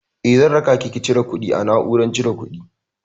Eh, zan rakaki ki cire kuɗi a na'urar cire kuɗi.